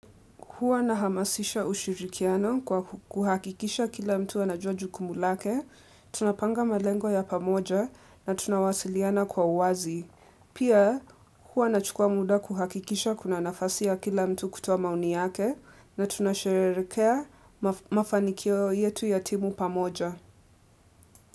Huwa nahamasisha ushirikiano kwa kuhakikisha kila mtu anajua jukumu lake. Tunapanga malengo ya pamoja na tunawasiliana kwa uwazi. Pia huwa nachukua muda kuhakikisha kuna nafasi ya kila mtu kutoa maoni yake na tunasherehekea mafanikio yetu ya timu pamoja.